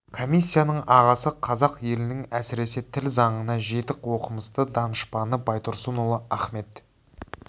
комиссияның ағасы қазақ елінің әсіресе тіл заңына жетік оқымысты данышпаны байтұрсынұлы ахмет